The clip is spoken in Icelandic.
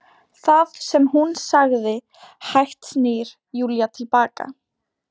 Það sem hún sagði- Hægt snýr Júlía til baka.